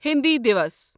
ہٕنٛدی دیوس